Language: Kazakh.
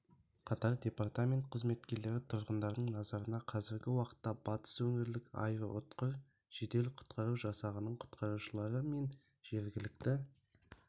қатар департамент қызметкерлері тұрғындардың назарына қазіргі уақытта батыс өңірлік аэроұтқыр жедел-құтқару жасағының құтқарушылары мен жергілікті